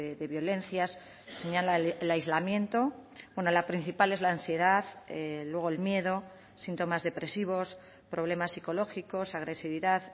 de violencias señala el aislamiento bueno la principal es la ansiedad luego el miedo síntomas depresivos problemas psicológicos agresividad